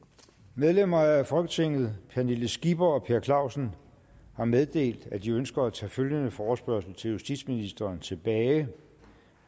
medlemmer af folketinget pernille skipper og per clausen har meddelt at de ønsker at tage følgende forespørgsel til justitsministeren tilbage